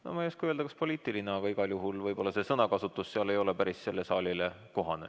No ma ei oska öelda, kas poliitiline, aga igal juhul see sõnakasutus ei ole sellele saalile päris kohane.